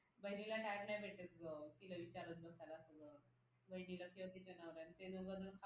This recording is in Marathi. बहिणीला time भेटत नाही ग तिला विचारत बसायला असलं बहिणीला किंवा तिच्या नवऱ्याला ते दोघ ना